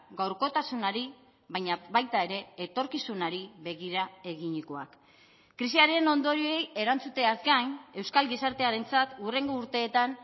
gaurkotasunari baina baita ere etorkizunari begira eginikoak krisiaren ondorioei erantzuteaz gain euskal gizartearentzat hurrengo urteetan